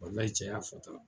Walahi cɛ y'a fɔ tan.